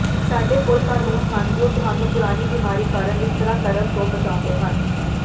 ਸਾਡੇ ਕੋਲ ਕਾਨੂੰਨ ਹਨ ਜੋ ਤੁਹਾਨੂੰ ਪੁਰਾਣੀ ਬਿਮਾਰੀ ਕਾਰਨ ਵਿਤਕਰਾ ਕਰਨ ਤੋਂ ਬਚਾਉਂਦੇ ਹਨ